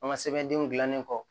An ka sɛbɛndenw dilannen kɔ